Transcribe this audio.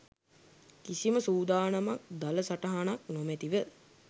කිසිම සූදානමක් දළ සටහනක් නොමැතිව